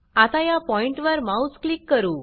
आता या पॉइण्ट वर माउस क्लिक करू